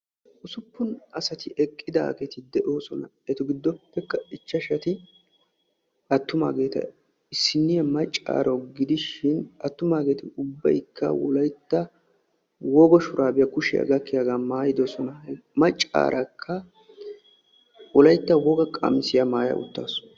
usuppun asati issippe eqidosona. eta gidoppe ichashati attumaageea issiniya macaaro gidishin attumaageeti ubaykka wolaytta wogaa maayuwa matidosona.